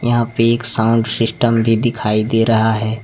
यहां पे एक साउंड सिस्टम भी दिखाई दे रहा है।